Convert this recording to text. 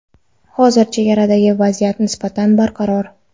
Hozir chegaradagi vaziyat nisbatan barqaror.